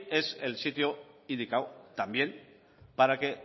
es el sitio indicado también para que